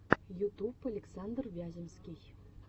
ютуб александр вяземский